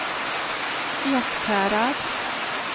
Ekshärad